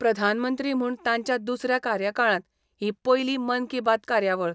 प्रधानमंत्री म्हूण तांच्या दुसऱ्या कार्यकाळांत ही पयली मन की बात कार्यावळ.